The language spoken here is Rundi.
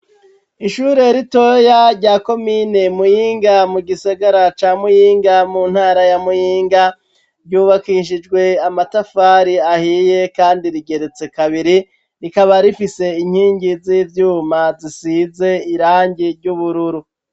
Ishure ritoya rya komine Muyinga mu Gisagara ca muyinga mu ntara ya Muyinga ryubakishijwe amatafari ahiye kandi rigeretse kabiri rikaba rifise inkingi z'ivyuma zisize irangi ry'ubururu.